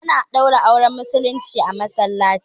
A na ɗaura auren Musulmai a Masallaci